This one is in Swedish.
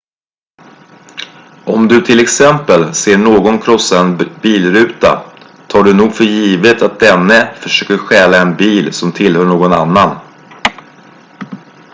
om du till exempel ser någon krossa en bilruta tar du nog för givet att denne försöker stjäla en bil som tillhör någon annan